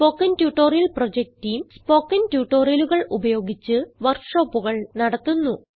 spoken tutorial project team spoken ട്യൂട്ടോറിയലുകൾ ഉപയോഗിച്ച് വർക്ക് ഷോപ്പുകൾ നടത്തുന്നു